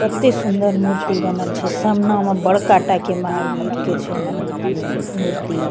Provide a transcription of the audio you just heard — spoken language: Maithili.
कते सूंदर मूर्ति बनल छै सामना में बड़का टा के महावीर के छै मन ए मूर्ति --